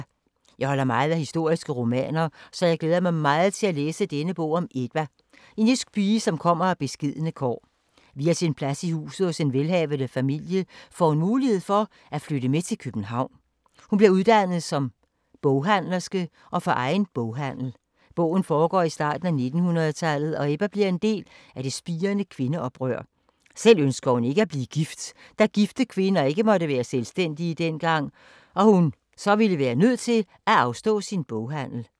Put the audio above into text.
Jeg holder meget af historiske romaner, så jeg glæder mig meget til at læse denne bog om Ebba, en jysk pige, som kommer af beskedne kår. Via sin plads i huset hos en velhavende familie får hun mulighed for at flytte med til København. Hun bliver uddannet som boghandlerske og får egen boghandel. Bogen foregår i starten af 1900-tallet og Ebba bliver en del af det spirende kvindeoprør. Selv ønsker hun ikke at blive gift, da gifte kvinder ikke måtte være selvstændige dengang og hun så ville være nødt til at afstå sin boghandel.